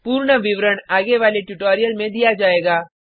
पूर्ण विवरण आगे वाले ट्यूटोरियल में दिया जायेगा